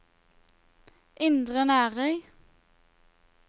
Indre Nærøy